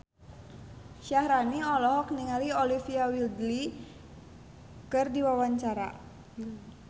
Syaharani olohok ningali Olivia Wilde keur diwawancara